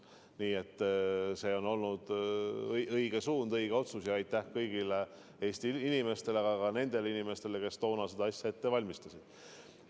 Nii et see on olnud õige suund, õige otsus ja aitäh kõigile Eesti inimestele, sh ka nendele inimestele, kes toona seda asja ette valmistasid.